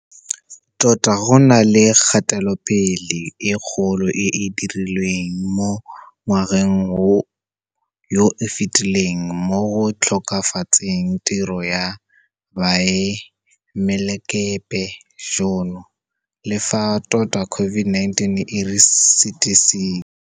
Tota go na le kgatelopele e kgolo e e dirilweng mo ngwageng yo o fetileng mo go tokafatseng tiro ya boemelakepe jono, le fa tota COVID-19 e re sitisitse.